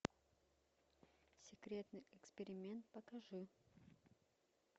секретный эксперимент покажи